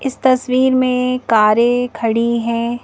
इस तस्वीर में कारें खड़ी हैं।